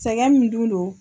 Sɛgɛn min dun no.